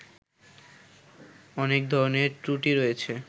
অনেক ধরণের ত্রুটি রয়েছে